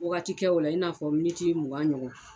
Wagati kɛ o la i n'a fɔ miniti mugan ɲɔgɔn.